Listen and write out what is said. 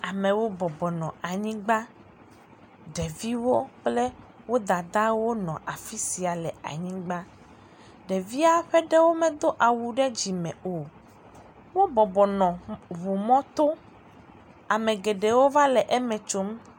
Amewo bɔbɔnɔ anyigba. Ɖeviwo kple wo dadawo nɔ afi sia le anyigba. Ɖevia ƒe ɖewo medo awu ɖe dzime o. wobɔbɔnɔ ŋumɔto. Ame geɖewo va le eme tsom.